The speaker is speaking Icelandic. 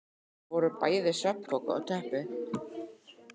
Þar voru bæði svefnpoki og teppi.